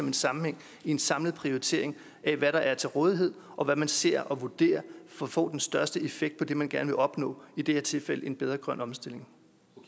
en sammenhæng i en samlet prioritering af hvad der er til rådighed og hvad man ser og vurderer for at få den største effekt af det man gerne vil opnå i det her tilfælde en bedre grøn omstilling